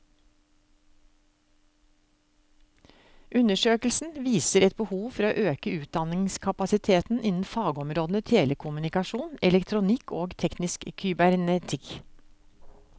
Undersøkelsen viser et behov for å øke utdanningskapasiteten innen fagområdene telekommunikasjon, elektronikk og teknisk kybernetikk.